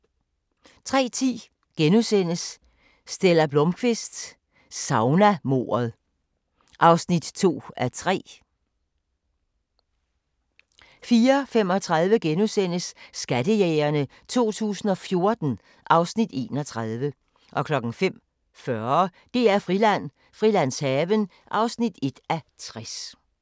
03:10: Stella Blómkvist: Saunamordet (2:3)* 04:35: Skattejægerne 2014 (Afs. 31)* 05:40: DR-Friland: Frilandshaven (1:60)